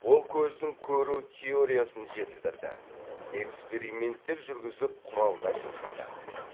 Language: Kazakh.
ол көздің көру теориясын жетілдірді эксперименттер жүргізіп құралдар жасады